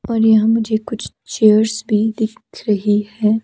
ओर यहां मुझे कुछ चेयर्स भी दिख रही है।